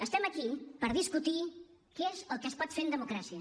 estem aquí per discutir què es el que es pot fer en democràcia